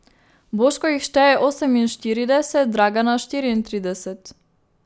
Boško jih šteje oseminštirideset, Dragana štiriintrideset.